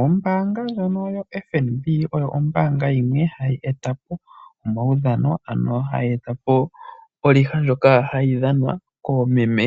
Ombaanga ndjono yaFNB oyo ombaanga ndjono hayi eta po omaudhano nenge hayi etapo olegue ndjono hayi dhanwa koomeme